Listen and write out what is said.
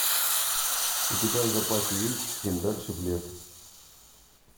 у тебя в запасе есть чем дальше в лес